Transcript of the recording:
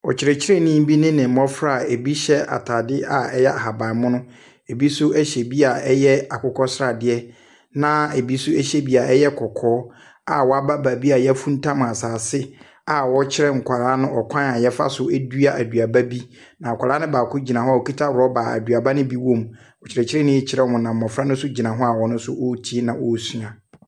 Ɔkyerɛkyerɛni bi ne ne mmɔfra a bi hyɛ ataadeɛ a ɛyɛ ahabanmono, bi nso hyɛ bi a ɛyɛ akokɔsradeɛ, na bi nso hyɛ bi a ɛyɛ kɔkɔɔ a wɔaba beebi a yɛafuntam asaase a wɔrekyerɛ nkwadaa no kwan wɔfa so dua aduaba bi. Na akwadaa ne baako gyina hɔ a okita rɔba a aduaba ne bi wɔ mu. Ɔkyerɛkyerɛni ɛrekyerɛ wɔn na mmɔfra no nso gyina hɔ a wɔretie na wɔresua.